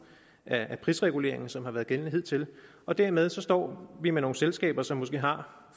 af prisreguleringen som har været gældende hidtil og dermed står vi med nogle selskaber som måske har